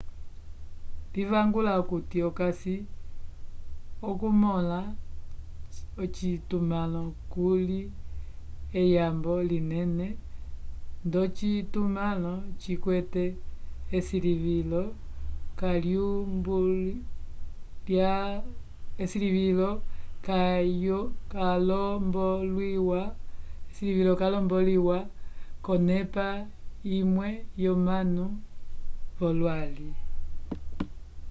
livaluka okuti okasi okumõla ocitumãlo kuli eyambo linene ndocitumãlo cikwete esilivilo kaylombolwiwa k'onepa imwe yomanu v'olwali